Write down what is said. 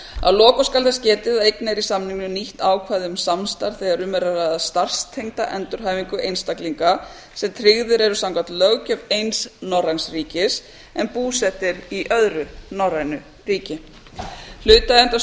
að lokum skal þess getið að einnig er í samningnum nýtt ákvæði um samstarf þegar um er að ræða starfstengda endurhæfingu einstaklinga sem tryggðir eru samkvæmt löggjöf eins norræns ríkis en búseta er í öðru norrænu ríki hlutaðeigandi stofnanir